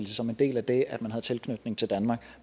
som en del af det at have tilknytning til danmark